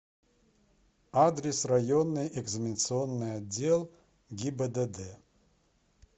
адрес районный экзаменационный отдел гибдд